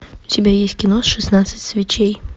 у тебя есть кино шестнадцать свечей